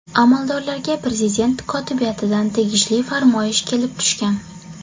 Amaldorlarga prezident kotibiyatidan tegishli farmoyish kelib tushgan.